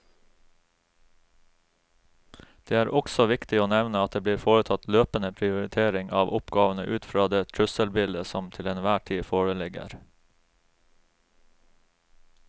Det er også viktig å nevne at det blir foretatt løpende prioritering av oppgavene ut fra det trusselbildet som til enhver tid foreligger.